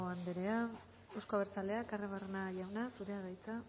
anderea euzko abertzaleak arruabarrena jauna zurea da hitza